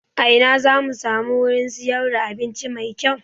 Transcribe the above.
A ina zamu samu wurin siyar da abinci mai kyau?